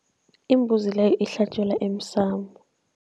Imbuzi le ihlatjelwa emsamo.